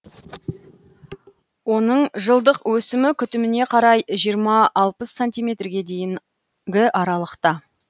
оның жылдық өсімі күтіміне қарай жиырма алпыс сантиметрге дейінгі аралықта